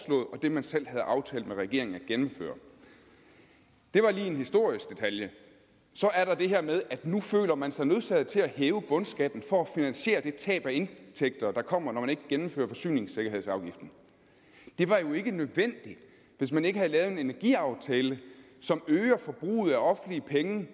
det man selv havde aftalt med regeringen at gennemføre det var lige en historisk detalje så er der det her med at nu føler man sig nødsaget til at hæve bundskatten for at finansiere det tab af indtægter der kommer når man ikke gennemfører forsyningssikkerhedsafgiften det var jo ikke nødvendigt hvis man ikke havde lavet en energiaftale som øger forbruget af offentlige penge